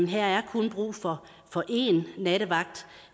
her er kun brug for én nattevagt